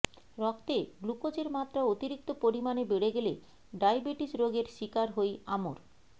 রক্তে গ্লুকোজের মাত্রা অতিরিক্ত পরিমাণে বেড়ে গেলে ডায়বেটিস রোগের শিকার হই আমর